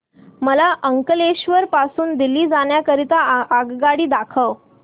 मला अंकलेश्वर पासून दिल्ली जाण्या करीता आगगाडी दाखवा